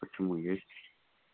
почему есть